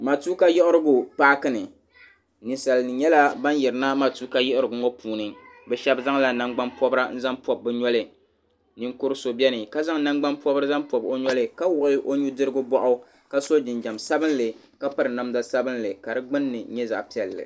Matuuka yiɣirigu Paaki ni ninsalnim nyɛla ban yiri na matuuka yiɣirigu mu puuni bɛ shɛb nyɛla ban zaŋ nagbaŋ pɔbra nzaŋ pɔb bɛ noli ninkuri so bɛ ni ka zaŋ nangbaŋ pɔbri pɔb o noli ka wuɣi o nudirigu bɔɣu ka so jinjam sabinli ka piri namda sabinli ka di gbunni nyɛ zaɣi piɛli.